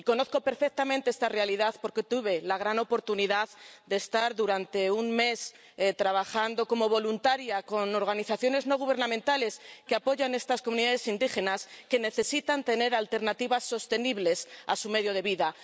Y conozco perfectamente esta realidad, porque tuve la gran oportunidad de estar durante un mes trabajando como voluntaria con organizaciones no gubernamentales que apoyan a estas comunidades indígenas, que necesitan tener alternativas sostenibles a su medio de vida.